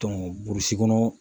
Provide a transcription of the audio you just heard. burusi kɔnɔ